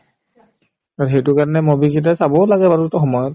আৰু সেইটো কাৰণে movie কেইটা চাবও লাগে বাৰু সময়ত